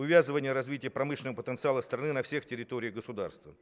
увязывание развития промышленного потенциала страны на всех территориях государства